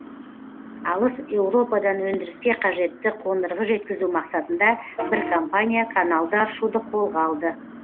алыс еуропадан өндіріске қажетті қондырғы жеткізу мақсатында бір компания каналды аршуды қолға алды